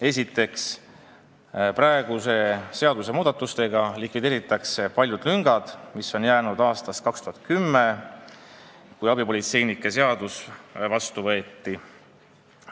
Esiteks, muudatustega likvideeritakse paljud lüngad, mis on jäänud aastast 2010, kui abipolitseiniku seadus vastu võeti.